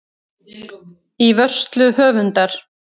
Í vörslu höfundar.